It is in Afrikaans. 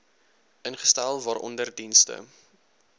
ingestel waaronder dienste